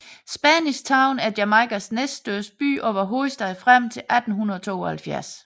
Spanish Town er Jamaicas næststørste by og var hovedstad frem til 1872